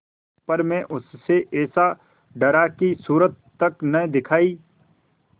पर मैं उससे ऐसा डरा कि सूरत तक न दिखायी